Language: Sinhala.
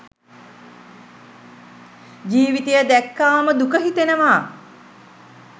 ජීවිතය දැක්කාම දුක හිතෙනවා.